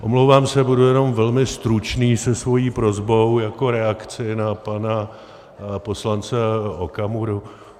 Omlouvám se, budu jenom velmi stručný se svou prosbou jako reakcí na pana poslance Okamuru.